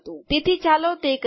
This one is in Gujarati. તેથી ચાલો તે કરીએ